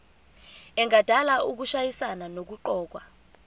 engadala ukushayisana nokuqokwa